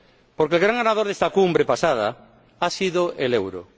Porque el gran ganador de esta Cumbre pasada ha sido el euro.